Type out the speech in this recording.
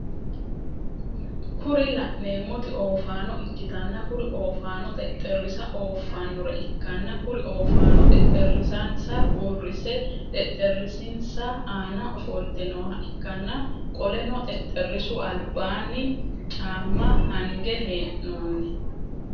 Kuri laneemoti oofaano ikkitanna kuri ofanono xexerisa ooffanore ikkanna kuri ofaanono xexerisansa uurisse xexerisinsa ana ofoltte nooha ikkanna qoleno xexerisu albaanni caaamma hangge heenoonni